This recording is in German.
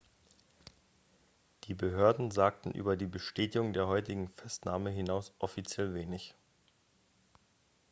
die behörden sagten über die bestätigung der heutigen festnahme hinaus offiziell wenig